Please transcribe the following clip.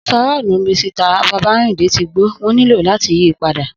Ofarọ́ọ̀lu Misita Babárìndé tí gbó wón nílò làti yìí padà